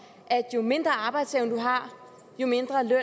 at jo mindre arbejdsevne man har jo mindre løn